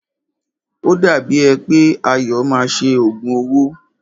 O dàbí è pé Ayọ̀ máa ṣe òògùn owó.